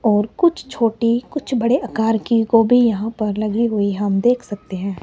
और कुछ छोटी कुछ बड़े आकर की गोभी यहां पर लगी हुई हम देख सकते हैं।